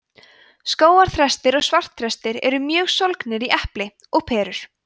skógarþrestir og svartþrestir eru mjög sólgnir í epli og perur